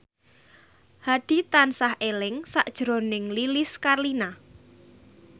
Hadi tansah eling sakjroning Lilis Karlina